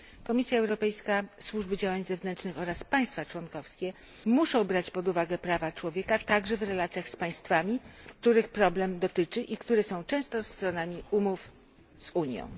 Komisja Europejska, Służba Działań Zewnętrznych oraz państwa członkowskie muszą brać pod uwagę prawa człowieka także w relacjach z państwami, których problem ten dotyczy i które są często stronami umów z Unią.